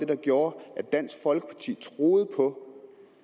der gjorde at dansk folkeparti troede på